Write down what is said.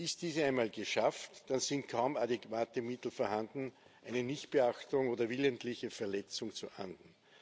Ist diese einmal geschafft, dann sind kaum adäquate Mittel vorhanden, eine Nichtbeachtung oder willentliche Verletzung zu ahnden.